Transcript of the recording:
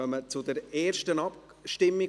Wir kommen zur ersten Abstimmung.